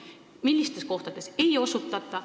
Millistes kohtades seda õigusabi ei osutata?